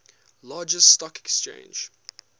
largest stock exchange